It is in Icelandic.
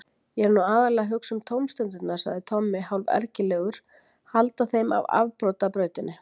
Ég er nú aðallega að hugsa um tómstundirnar, sagði Tommi hálfergilegur, halda þeim af afbrotabrautinni.